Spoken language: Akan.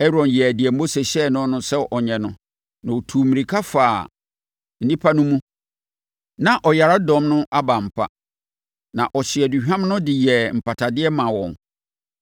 Aaron yɛɛ deɛ Mose hyɛɛ no sɛ ɔnyɛ no, na ɔtuu mmirika faa nnipa no mu. Na ɔyaredɔm no aba ampa, na ɔhyee aduhwam no de yɛɛ mpatadeɛ maa wɔn.